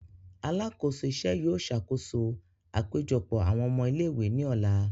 Alakoso iṣẹ yóò ṣakoso apejọpọ awọn ọmọ ile-iwe ni ọla.